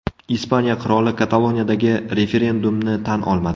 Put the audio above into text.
Ispaniya qiroli Kataloniyadagi referendumni tan olmadi.